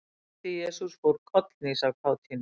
Litli-Jesús fór kollhnís af kátínu.